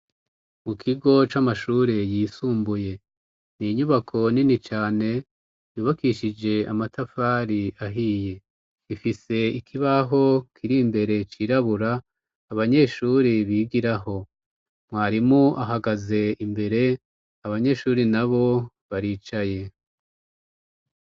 Mu kigo c'amashure yisumbuye; Ni inyubako nini cane yubakishije amatafari ahiye. Ifise ikibaho kiri mbere cirabura, abanyeshuri bigiraho . Mwarimu ahagaze imbere abanyeshure nabo baricaye.